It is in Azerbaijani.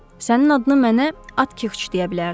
Sənin adını mənə Atkiç deyə bilərdi.